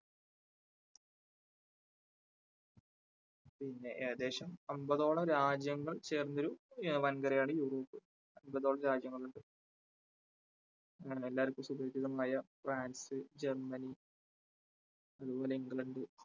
പിന്നെ ഏകദേശം അൻപതോളം രാജ്യങ്ങൾ ചേർന്ന ഒരു വൻകരയാണ് യൂറോപ്പ് അൻപതോളം രാജ്യങ്ങൾ ഉണ്ട്. അങ്ങനെ എല്ലാവർക്കും സുപരിചിതങ്ങളായ ഫ്രാൻസ്, ജർമ്മനി അതുപോലെ ഇംഗ്ലണ്ട്